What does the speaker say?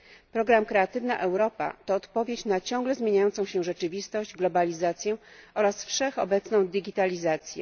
Program Kreatywna Europa to odpowiedź na ciągle zmieniającą się rzeczywistość, globalizację oraz wszechobecną digitalizację.